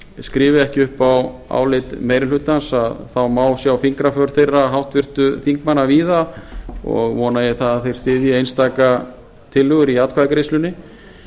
skrifi ekki upp á álit meiri hlutans þá má sjá fingraför þeirra háttvirtra þingmanna víða og vona ég það að þeir styðji einstaka tillögur í atkvæðagreiðslunni